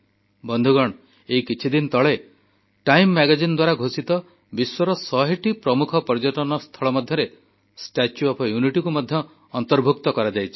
ବନ୍ଧୁଗଣ ଏଇ କିଛିଦିନ ତଳେ ଟାଇମ ମାଗାଜିନ ଦ୍ୱାରା ଘୋଷିତ ବିଶ୍ୱର ଶହେଟି ପ୍ରମୁଖ ପର୍ଯ୍ୟଟନସ୍ଥଳ ମଧ୍ୟରେ ଷ୍ଟାଚ୍ୟୁ ଅଫ ୟୁନିଟିକୁ ମଧ୍ୟ ସାମିଲ କରାଯାଇଛି